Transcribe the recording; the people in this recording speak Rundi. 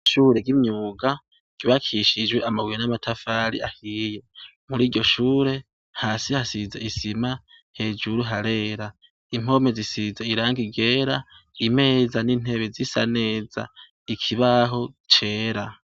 Shure g'imyuga ryubakishijwe amabuye n'amatafari ahiye muri iryo shure hasi hasize isima hejuru harera impomi zisize iranga igera imeza n'intebi z'isa neza ikibaho cera.